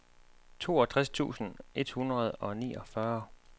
toogtres tusind et hundrede og niogfyrre